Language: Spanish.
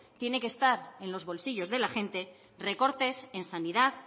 tiene que estar en los bolsillos de la gente recortes en sanidad